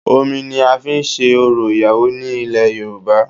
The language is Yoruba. Omi ni a fi n se orò ìyàwó ní ilẹ̀ Yorùbá